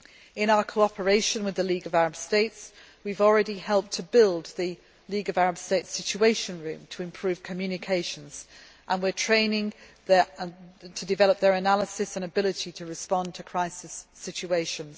In our cooperation with the League of Arab States, we have already helped build the League of Arab States Situation Room to improve communications, and we are training them to develop their analysis and ability to respond to crisis situations.